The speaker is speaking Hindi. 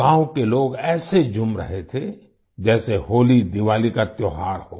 गांव के लोग ऐसे झूम रहे थे जैसे होलीदिवाली का त्योहार हो